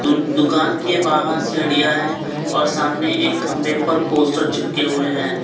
दुकान के बाहर सीढ़ियां है और सामने एक खंभे पर पोस्टर चिपके हुए हैं।